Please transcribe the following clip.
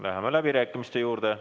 Läheme läbirääkimiste juurde.